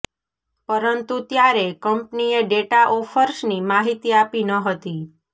પરંતુ ત્યારે કંપનીએ ડેટા ઓફર્સની માહિતી આપી ન હતી